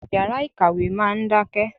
Yàrá ìkàwé máa ń dákẹ́.